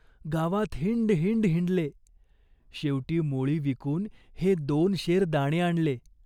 गावात हिंड हिंड हिंडले. शेवटी मोळी विकून हे दोन शेर दाणे आणले.